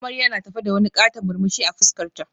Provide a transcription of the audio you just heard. Amarya na tafe da wani katon murmushi a fuskarta